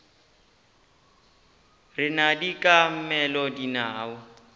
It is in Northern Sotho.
rena di ka mela dinao